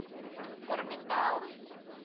корби таун